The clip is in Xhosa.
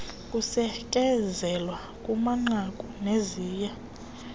kusekezelwa kumanqaku neziya